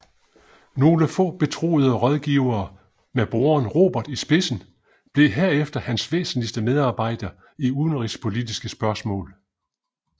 Nogle få betroede rådgivere med broderen Robert i spidsen blev herefter hans væsentligste medarbejdere i udenrigspolitiske spørgsmål